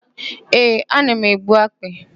Ee, ana m egbu akpị.